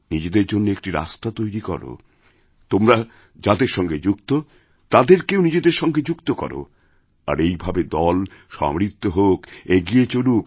নিজেদের জন্য একটি রাস্তাতৈরি কর তোমরা যাদের সঙ্গে যুক্ত তাদেরকেও নিজেদের সঙ্গে যুক্ত করো আর এইভাবেদল সমৃদ্ধ হোক এগিয়ে চলুক